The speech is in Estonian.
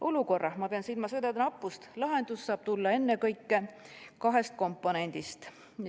Olukorra – ma pean silmas õdede nappust – lahendus saab tulla ennekõike kahest komponendist.